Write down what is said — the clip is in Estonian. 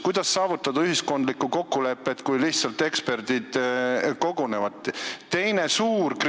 Kuidas saavutada ühiskondlikku kokkulepet, kui eksperdid lihtsalt kogunevad?